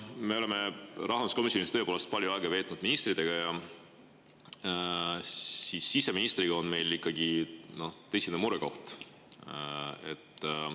Me oleme rahanduskomisjonis tõepoolest palju aega veetnud ministritega ja siseminister on meil ikkagi tõsine murekoht.